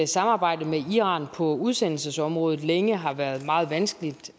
samarbejdet med iran på udsendelsesområdet længe har været meget vanskeligt